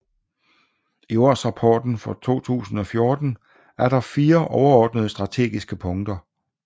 I årsrapporten for 2014 er der 4 overordnede strategiske punkter